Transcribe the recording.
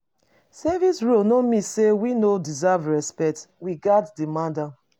Service roles no mean say we no deserve respect; we gatz demand am.